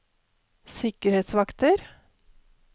sikkerhetsvakter